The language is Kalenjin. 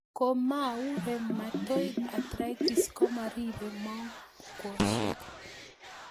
Ko mau rheumatoid arthritis ko maripei mong'woshek